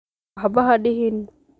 Waxba hadihin.